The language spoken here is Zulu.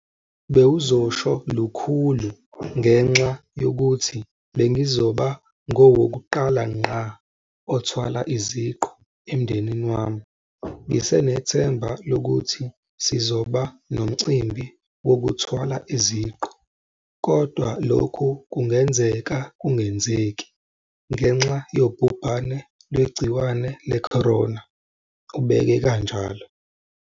"Bewuzosho lukhulu ngenxa yokuthi bengizoba ngowokuqala ngqa othwala iziqu emndenini wami. Ngisenethemba lokuthi sizoba nomcimbi wokuthwala iziqu, kodwa lokhu kungenzeka kungenzeki ngenxa yobhubhane lwegciwane le-corona," ubeke kanjalo.